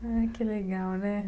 Ah, que legal, né?